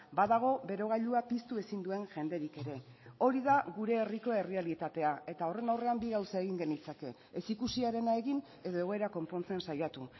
badago berogailua piztu ezin duen jenderik ere hori da gure herriko errealitatea eta horren aurrean bi gauza egin genitzake ez ikusiarena egin edo egoera konpontzen saiatu